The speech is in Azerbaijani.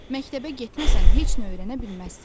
Məktəbə getməsən heç nə öyrənə bilməzsən.